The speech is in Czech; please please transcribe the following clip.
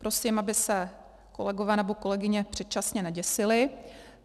Prosím, aby se kolegové nebo kolegyně předčasně neděsili.